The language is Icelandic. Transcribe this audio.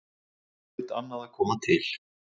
Þar hlaut annað að koma til.